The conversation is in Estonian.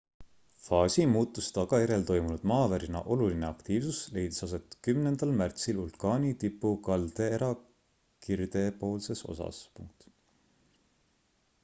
faasimuutuse tagajärjel toimunud maavärina oluline aktiivsus leidis aset 10 märtsil vulkaani tipu kaldeera kirdepoolses osas